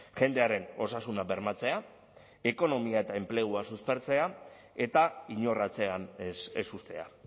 jendearen osasuna bermatzea ekonomia eta enplegua suspertzea eta inor atzean ez uztea